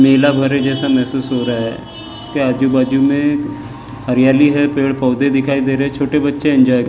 नीला घर है जैसा महसूस हो रहा है उसके आजू बाजू में हरियाली है पेड़ पौधे दिखाई दे रहे हैं छोटे बच्चे एंजॉय --